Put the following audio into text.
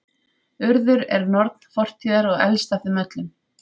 Urður er norn fortíðar og elst af þeim öllum.